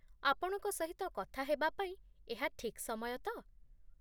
ଆପଣଙ୍କ ସହିତ କଥା ହେବା ପାଇଁ ଏହା ଠିକ୍ ସମୟ ତ?